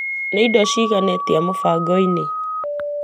Nĩ irio cigana atia mũbango-inĩ .